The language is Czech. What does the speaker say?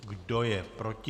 Kdo je proti?